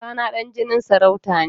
Kaka na ɗan jinin sarauta ne.